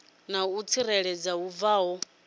na u tsireledzea hu bvaho